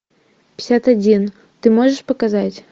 пятьдесят один ты можешь показать